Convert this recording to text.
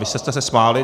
Vy jste se smáli.